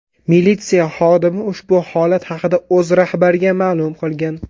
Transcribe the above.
Militsiya xodimi ushbu holat haqida o‘z rahbariga ma’lum qilgan.